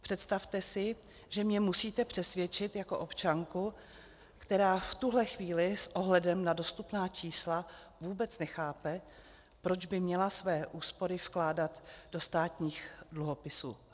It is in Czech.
Představte si, že mě musíte přesvědčit jako občanku, která v tuhle chvíli s ohledem na dostupná čísla vůbec nechápe, proč by měla své úspory vkládat do státních dluhopisů.